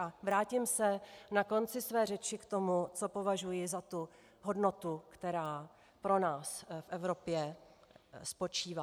A vrátím se na konci své řeči k tomu, co považuji za tu hodnotu, která pro nás v Evropě spočívá.